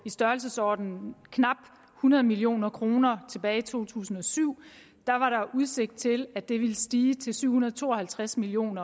størrelsesordenen knap hundrede million kroner tilbage i to tusind og syv der var udsigt til at det ville stige til syv hundrede og to og halvtreds million